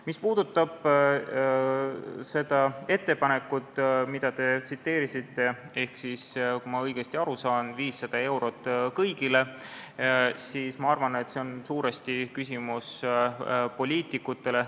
Mis puudutab seda ettepanekut, mida te tsiteerisite, kui ma õigesti aru sain, et 500 eurot kõigile, siis ma arvan, et see on suuresti küsimus poliitikutele.